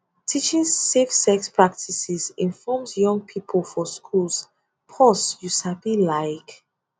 teaching safe sex practices informs young pipo for schools pause you sabi laik